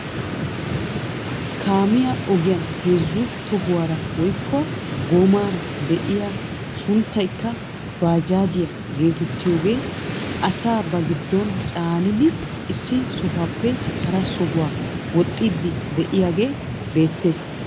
Kaamiyaa ogiyaan heezzu tohuwaara woykko goomaara de'iyaa sunttaykka baajaajiyaa getettiyaagee asaa ba giddon caanidi issi sohuwaappe hara sohuwaa wooxxidi de'iyaagee beettees.